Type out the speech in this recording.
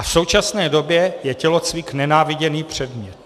A v současné době je tělocvik nenáviděný předmět.